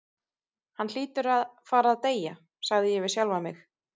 Hann hlýtur að fara að deyja, sagði ég við sjálfan mig.